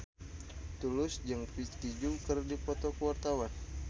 Tulus jeung Vicki Zao keur dipoto ku wartawan